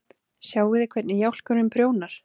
Sjáiði hvernig jálkurinn prjónar?!